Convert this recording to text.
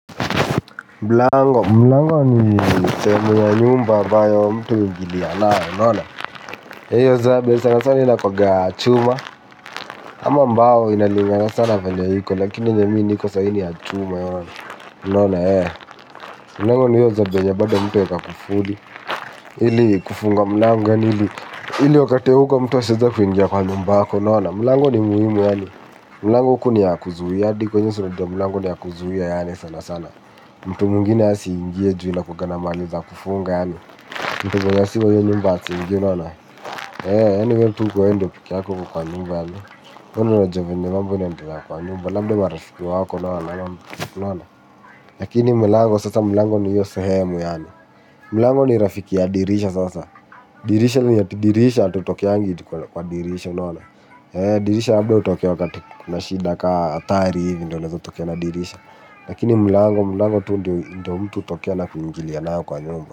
Mlango, mlango ni sehemu ya nyumba ambayo mtu huuingili ya nayo, iyo zabe sana sana inakuaga ya chuma. Ama mbao inalingana sa na venye iko lakini enye mi niko saizi ni ya chuma unaona. Mlango ni iyo zabe nyenye bado mtu huweka kufuli. Ili kufunga mlango yaani ili wakati wa hauko mtu asijekuingia kwa nyumba yako, unaona. Mlango ni muhimu yaani mlango huku ni ya kuzuia hadi iyo ya mlango ni ya kuzuia sana sana mtu mwingine asiingie ju inakuanga na mahali za kufunga. Mtu mwenye sio wa iyo nyumba asiingie unaona wewe pekee yako ndio uko kwa nyumba labda wewe ndio unajua vile mambo inaendelea kwa nyumba labda marafiki wako lakini mlango ndio hio sehemu yani mlango ni rafiki ya dirisha sasa dirisha ni ati dirisha hutokeangi kwa dirisha dirisha labda utokee wakati kuna shida kama hatari ivi ndio unaeza tokea na dirisha. Lakini mlango mlango tu ndio ndio mtu hutokea na kuingilia nayo kwa nyumba.